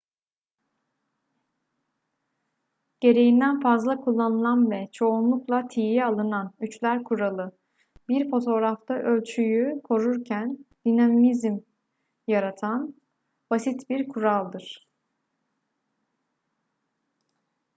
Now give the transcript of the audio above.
gereğinden fazla kullanılan ve çoğunlukla tiye alınan üçler kuralı bir fotoğrafta ölçüyü korurken dinamizm yaratan basit bir kuraldır